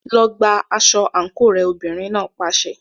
Lọ gba aṣọ àǹkóò rẹ, obìnrin náà pàṣẹ.